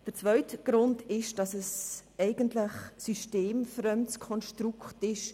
Der zweite Grund liegt darin, dass es in der Tendenz ein systemfremdes Konstrukt ist.